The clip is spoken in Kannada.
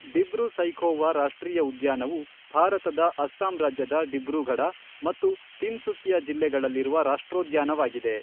ಡಿಬ್ರೂ ಸೈಖೋವಾ ರಾಷ್ಟ್ರೀಯ ಉದ್ಯಾನವು ಭಾರತದ ಅಸ್ಸಾಂ ರಾಜ್ಯದ ಡಿಬ್ರೂಗಢ ಮತ್ತು ತಿನ್ಸುಕಿಯಾ ಜಿಲ್ಲೆಗಳಲ್ಲಿರುವ ರಾಷ್ಟ್ರೋದ್ಯಾನವಾಗಿದೆ.